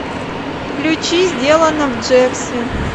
включи сделано в джерси